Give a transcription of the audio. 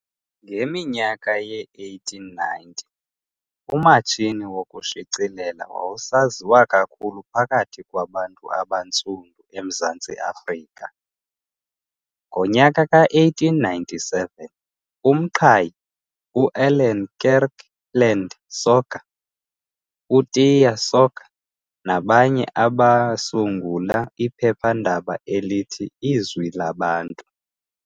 Ngeminyaka yee-1890, umatshini wokushicilela wawusaziwa kakhulu phakathi kwabantu abaNtsundu eMzantsi Afrika . Ngonyaka ka1897 uMqhayi, u-Allan Kirkland Soga, uTiyo Soga nabanye basungula iphephandaba elithi Izwi Labantu .